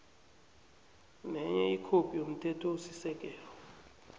nenye ikhophi yomthethosisekelo